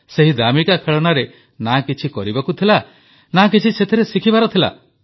ସେହି ଦାମିକା ଖେଳନାରେ ନା କିଛି କରିବାକୁ ଥିଲା ନା କିଛି ସେଥିରେ ଶିଖିବାର ଥିଲା